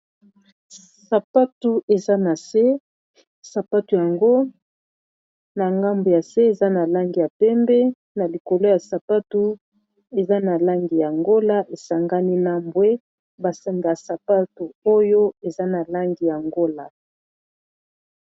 Sapatu eza na se sapatu yango na ngambu ya se eza na langi ya pembe na likolo ya sapatu eza na langi ya ngola esangani na mbwe ba singa ya sapatu oyo eza na langi ya ngola.